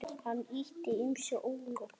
Hann átti ýmsu ólokið.